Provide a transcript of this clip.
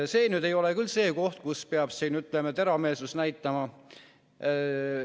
See ei ole küll see koht, kus peab teravmeelsust näitama.